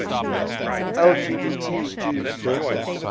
lgbt jews